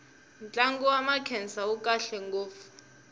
ntlangu wa makhensa wu kahle ngopfu